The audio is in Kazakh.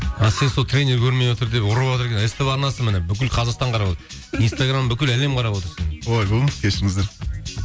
а сен сол тренер көрмей отыр деп ұрыватыр ств арнасы міне бүкіл қазақстан қарап отыр инстаграм бүкіл әлем қарап отыр сені ойбай кешіріңіздер